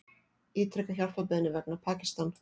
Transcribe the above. Ítreka hjálparbeiðni vegna Pakistan